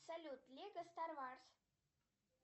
салют лего стармарс